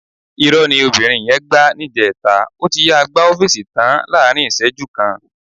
Ìrọ́ ni arábìnrin yẹn gbá níjẹta. Ó ti yáa gbá ọ́fíìsì tàn án láàrín ìṣẹ́jú kan.